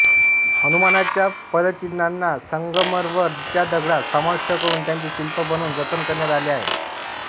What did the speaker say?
हनुमानाच्या पद्चीन्हाना संगमरमर च्या दगडात समाविष्ट करून त्याचे शिल्प बनवून जतन करण्यात आले आहे